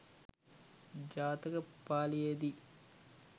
ජාතක පාලියේදී